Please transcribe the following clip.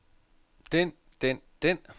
den den den